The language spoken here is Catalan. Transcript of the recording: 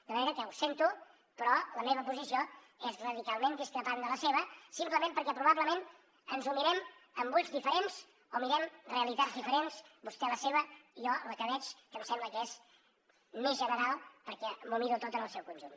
de manera que ho sento però la meva posició és radicalment discrepant de la seva simplement perquè probablement ens ho mirem amb ulls diferents o mirem realitats diferents vostè la seva jo la que veig que em sembla que és més general perquè m’ho miro tot en el seu conjunt